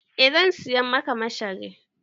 Eh zan saya masa mashari.